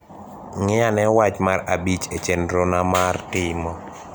ng`ianee wach mar abich e chenro na mar timo